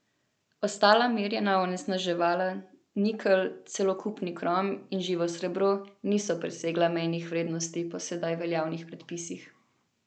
Ostala merjena onesnaževala, nikelj, celokupni krom in živo srebro, niso presegla mejnih vrednosti po sedaj veljavnih predpisih.